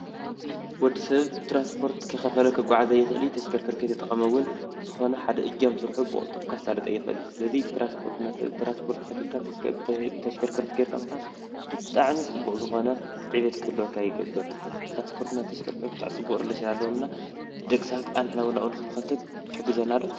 ወዲ ሰብ ትራንስፖርት እንከይ ከፈለ ክጓዓዝ ኣይክእልን። ተሽከርከርቲ ከይተጠቀመ እውን ዝኾነ ሓደ እጃም ስርሑ ብቅልጡፍ ከሳልጥ ኣይክእልን። ስለዚ ትራንስፖርት ከፊከልካ ብተሽከርከርቲ ምካድ ብጣዕሚ ፅቡቅ ዝኮነ ዕብየት ክህልወካ ይገብር። ትራንስፖርትና ተሽከርከርቲ ፅቡቅ ሪሌሽን ኣለዎም እና ደቂ ሰባት ናብኡ ንክንከትት ይሕግዘና ዶ?